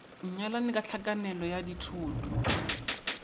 nyalane ka tlhakanelo ya dithoto